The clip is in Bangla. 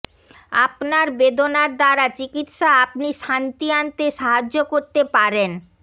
আপনার বেদনার দ্বারা চিকিত্সা আপনি শান্তি আনতে সাহায্য করতে পারেন